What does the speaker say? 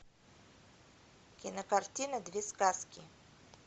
кинокартина две сказки